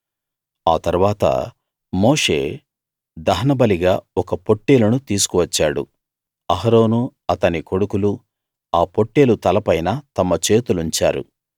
ఆ తరువాత మోషే దహనబలిగా ఒక పొట్టేలును తీసుకు వచ్చాడు అహరోనూ అతని కొడుకులూ ఆ పొట్టేలు తలపైన తమ చేతులుంచారు